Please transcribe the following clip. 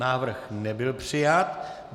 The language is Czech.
Návrh nebyl přijat.